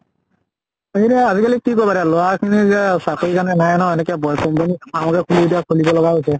সেইটোয়ে আজি কালি কি কৰিবা লʼৰা খিনি যে চাকৰী কাৰণে নাই ন এনেকে farm কে খুলি এতিয়া খুলিব লগিয়া হৈছে।